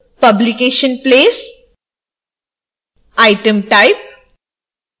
publication place: item type: